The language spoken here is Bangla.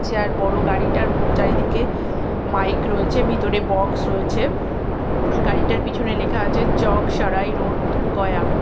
যার বড় গাড়িটার চারিদিকে মাইক রয়েছে ভিতরে বক্স রয়েছে গাড়িটার পিছনে লেখা আছে চক সরাই রোড গয়া ।